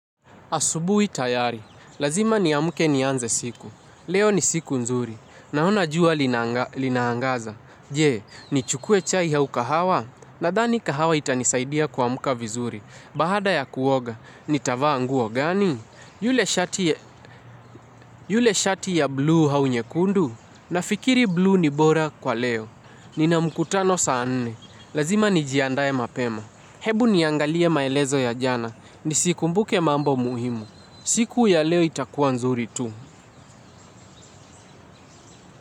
Asubui tayari. Lazima ni amuke ni anze siku. Leo ni siku nzuri. Na ona jua linaangaza. Je, ni chukue chai hau kahawa? Nadhani kahawa itanisaidia kua mka vizuri. Bahada ya kuoga, ni tavaa nguo gani? Yule shati ya bluu hau nye kundu? Nafikiri bluu ni bora kwa leo. Nina mkutano saa nne. Lazima ni jiandaye mapema. Hebu niangalie maelezo ya jana ni siku mbuke mambo muhimu. Siku ya leo itakuwa nzuri tu.